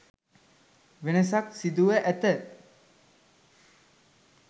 වෙනසක් සිදුව ඇත.